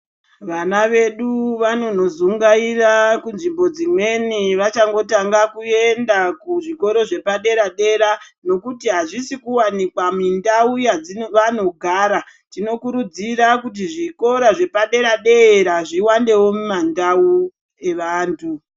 Vana vedu vanonozunngaira kunzvi.bo dzimweni vachangotanga kuenda kuzvikora zvepadera dera nekuti hazvisi kuwanikwa muntau dzavanogara tinokuridzira kuti zvikora zvikora zvepadera dera zviwandewo mumandau evantu.